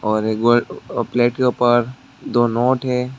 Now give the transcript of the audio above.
और एक प्लेट के ऊपर दो नोट हैं।